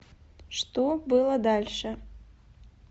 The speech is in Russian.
что было дальше